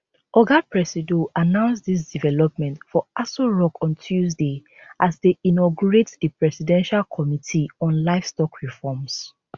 oga presido announce dis development for aso rock on tuesday as e dey inaugurate di presidential committee on livestock reforms